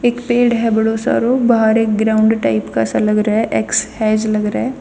एक पेड़ ह बडो सारो बाहर एक ग्राउंड टाइप का सा लग रहा ह एक्सहेज लग रहा ह.